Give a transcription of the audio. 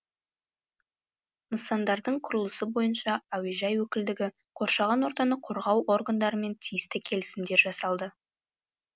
нысандардың құрылысы бойынша әуежай өкілдігі қоршаған ортаны қорғау органдарымен тиісті келісімдер жасалды